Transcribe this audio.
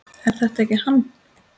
Er þetta ekki hann